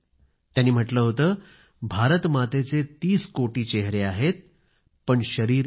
त्यांनी म्हटलं होतं भारत मातेचे तीस कोटी चेहरे आहेत पण शरीर एक आहे